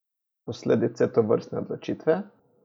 Posledice tovrstne odločitve?